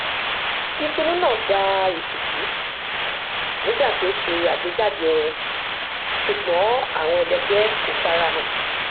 ìpinnu náà gbà ìtìjú nígbà tí ó ṣe àgbéjáde orin ṣùgbọn àwọn ẹlẹgbẹ kò farahàn